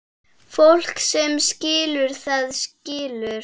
Fólk sem skilur, það skilur.